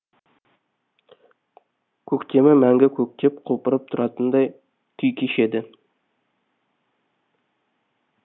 көктемі мәңгі көктеп құлпырып тұратындай күй кешеді